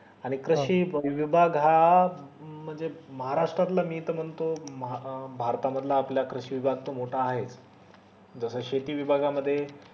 आणि कशी विभाग हा म्हणजे महाराष्ट्रातला मी त म्हणतो भारत मधला आपल्या विभाग त मोठा आहे जस शेती विभागा मध्ये